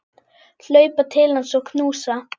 Hlaupa til hans og knúsa.